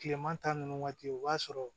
Kileman ta nunnu waati o b'a sɔrɔ